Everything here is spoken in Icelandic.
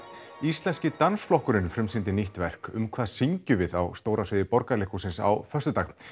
íslenski dansflokkurinn frumsýndi nýtt verk um hvað syngjum við á stóra sviði Borgarleikhússins á föstudag